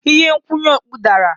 Ihe nkwụnye okpu dara.